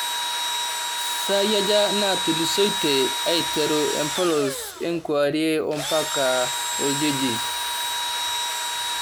saai aja naatulusoitie aiteru empolos enkewarie ompaka oljiji